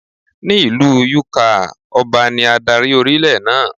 Ní ìlú Yúkaà, Ọba ní adarí orílẹ̀ náà.